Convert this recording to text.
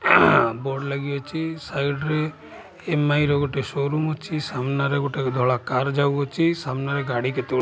ଆଁ ହା ବୋର୍ଡ ଲାଗିଅଛି ସାଇଡ୍ ରେ ଏମଆଇ ର ଗୋଟେ ଶୋରୁମ୍ ଅଛି ସାମ୍ନାରେ ଗୋଟେ ଧଳା କାର୍ ଯାଉଅଛି ସାମ୍ନାରେ ଗାଡ଼ି କେତେଗୁ --